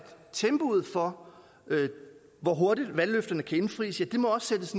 tempoet for hvor hurtigt valgløfterne kan indfries må sættes